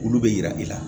Olu bɛ yira i la